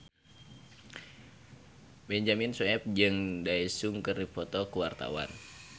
Benyamin Sueb jeung Daesung keur dipoto ku wartawan